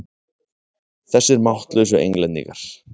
Þessir máttlausu Englendingar!